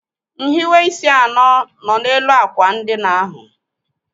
Nhiweisi anọ nọ n'elu àkwà ndina ahụ.